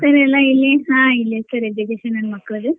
ಇಲ್ಲೆ sir ಎಲ್ಲಾ ಹಾ ಇಲ್ಲೆ sir education ಮಕ್ಕಳ್ದು.